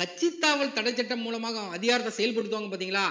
கட்சித்தாவல் தடை சட்டம் மூலமாக அதிகாரத்தை செயல்படுத்துவாங்க பார்த்தீங்களா